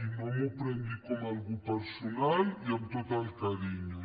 i no m’ho prengui com alguna cosa personal i amb tot el carinyo